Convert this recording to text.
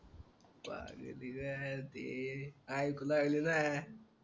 वा रे दिन्या अरे ऐकू लागलं ना